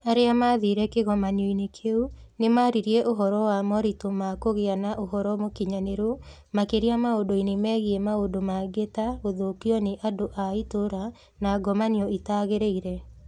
Arĩa maathire kĩgomano-inĩ kĩu nĩ maaririe ũhoro wa moritũ ma kũgĩa na ũhoro mũkinyanĩru, makĩria maũndũ-inĩ megiĩ maũndũ mangĩ ta gũthũkio nĩ andũ a itũũra na ngomanio itagĩrĩire.